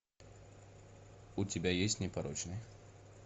у тебя есть непорочные